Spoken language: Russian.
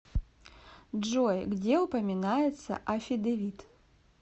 джой где упоминается аффидевит